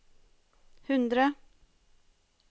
hundre